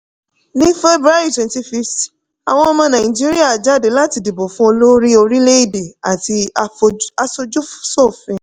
ní february 25th àwọn ọmọ nàìjíríà jáde láti dìbò fún olórí orilẹ̀-èdè àti aṣojuṣofin.